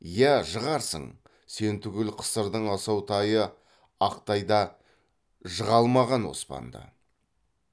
иә жығарсың сен түгіл қысырдың асау тайы ақ тай да жыға алмаған оспанды